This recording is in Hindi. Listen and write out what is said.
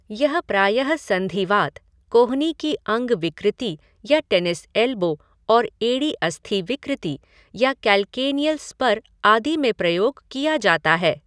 यह प्रायः संधिवात, कोहनी की अंग विकृति या टेनिस एल्बो और एड़ी अस्थि विकृति या कैल्केनियल स्पर आदि में प्रयोग किया जाता है।